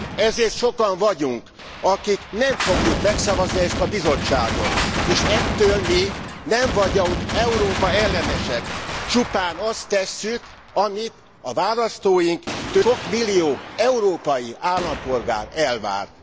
Ezért sokan vagyunk, akik nem fogjuk megszavazni ezt a Bizottságot, és ettől mi nem vagyunk Európa ellenesek, csupán azt tesszük, amit a választóink sok millió európai állampolgár tőlünk elvárnak.